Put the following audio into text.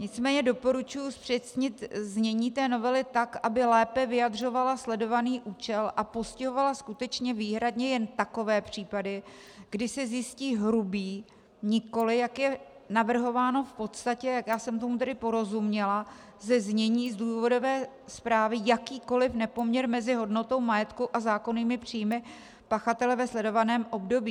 Nicméně doporučuji zpřesnit znění té novely tak, aby lépe vyjadřovala sledovaný účel a postihovala skutečně výhradně jen takové případy, kdy se zjistí hrubý, nikoli, jak je navrhováno v podstatě, jak já jsem tomu tedy porozuměla ze znění z důvodové zprávy, jakýkoli nepoměr mezi hodnotou majetku a zákonnými příjmy pachatele ve sledovaném období.